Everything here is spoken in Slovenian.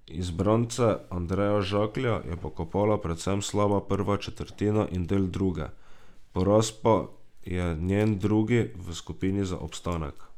Izbrance Andreja Žaklja je pokopala predvsem slaba prva četrtina in del druge, poraz pa je njen drugi v skupini za obstanek.